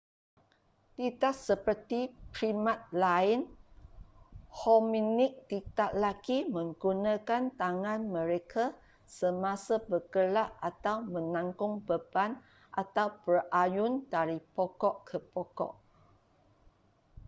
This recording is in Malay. tidak seperti primat lain hominid tidak lagi menggunakan tangan mereka semasa bergerak atau menanggung beban atau berayun dari pokok ke pokok